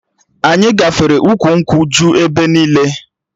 Anyị gafere ukwu nkwụ ju ebe niile